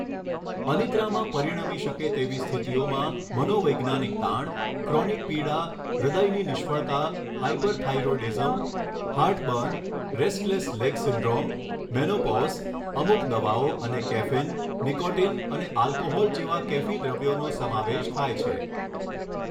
અનિદ્રામાં પરિણમી શકે તેવી સ્થિતિઓમાં મનોવૈજ્ઞાનિક તાણ, ક્રોનિક પીડા, હૃદયની નિષ્ફળતા, hyperthyroidism, heartburn, restless leg syndrome, menopause, અમુક દવાઓ અને કેફીન, નિકોટિન અને આલ્કોહોલ જેવા કેફી દ્રવ્યોનો સમાવેશ થાય છે.